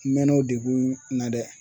N mɛɛnna o degun na dɛ